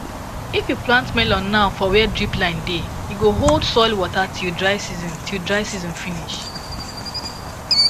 if you plant melon now for where drip line dey e go hold soil water till dry season till dry season finish